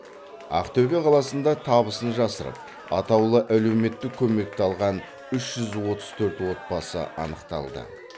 ақтөбе қаласында табысын жасырып атаулы әлеуметтік көмекті алған үш жүз отыз төрт отбасы анықталды